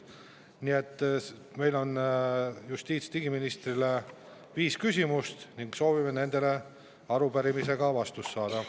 Nii et meil on justiits- ja digiministrile viis küsimust ning soovime nendele vastused saada.